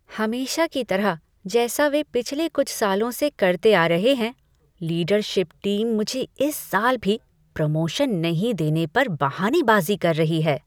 हमेशा की तरह जैसा वे पिछले कुछ सालों से करते आ रहा हैं, लीडरशिप टीम मुझे इस साल भी प्रमोशन नहीं देने पर बहानेबाज़ी कर रही है।